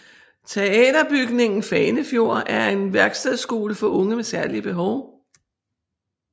Teaterbygningen Fanefjord er en værkstedskole for unge med særlige behov